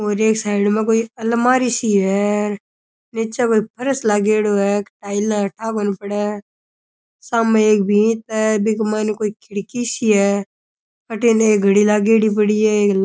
और एक साईड मै कोई अलमारी सी है नीचे कोई फर्श लागेडो है के टाइलां हैं ठा कोणी पड़े सामै एक भिंत है बिंगै माइने कोई खिड़की सी है अठी नै एक घड़ी लागेड़ी पड़ी है एक।